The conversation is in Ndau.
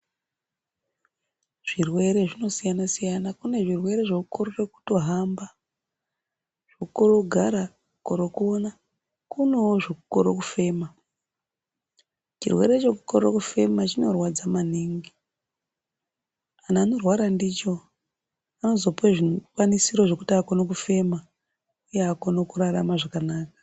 Zvirwere zvinosiyana siyana kune zvirwere zvokorere kutohamba , zvekukorere kugara, kororo kuona kunewo zvekukoro kufema. Chirwere chekukoro kufema chinorwadza maningi, anhu anorwara ndicho anozopiwe zvikwanisiro zvekuti akone kufema uye akone kurarama zvakanaka.